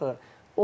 O qədər olur axı.